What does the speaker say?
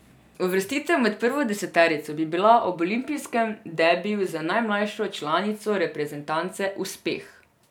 Uvrstitev med prvo deseterico bi bila ob olimpijskem debiju za najmlajšo članico reprezentance uspeh.